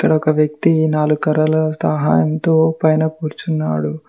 అడొక వ్యక్తి నాలుకర్రల సహాయంతో పైన కూర్చున్నాడు.